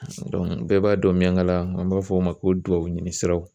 bɛɛ b'a dɔn miyangala n'an b'a fɔ o ma ko duwawu ɲini siraw